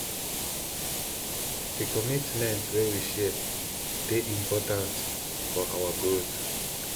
di commitment wey we share dey important for our growth